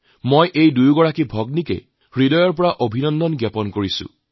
মই এই দুয়োগৰাকী ভনীক অন্তৰৰ পৰা বহুত বহুত অভিনন্দন জনাইছোঁ